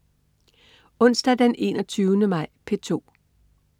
Onsdag den 21. maj - P2: